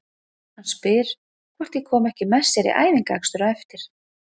Hann spyr hvort ég komi ekki með sér í æfingaakstur á eftir.